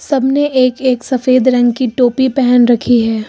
सब ने एक एक सफेद रंग की टोपी पेहन रखी है।